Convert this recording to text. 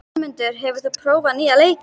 Vermundur, hefur þú prófað nýja leikinn?